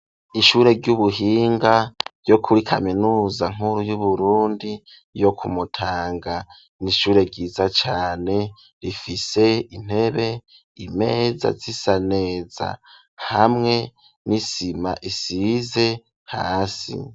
Ishure ry'ubuhinga ryo kuri kaminuza nkuru y'uburundi yo kumutanga n'ishure ryiza cane rifise intebe imeza zisa neza hamwe n'isima isize hasi.